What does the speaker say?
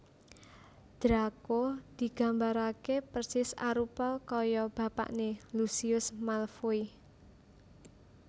Draco digambarake persis arupa kaya bapakne Lucius Malfoy